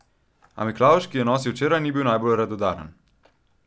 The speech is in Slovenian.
A Miklavž, ki je nosil včeraj, ni bil najbolj radodaren.